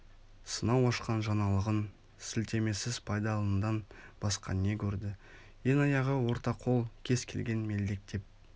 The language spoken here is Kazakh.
сынау ашқан жаңалығын склтемесіз пайдаланудан басқа не көрді ең аяғы ортақол кез келген мелдектеп